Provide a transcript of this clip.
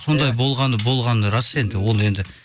сондай болғаны болғаны рас енді ол енді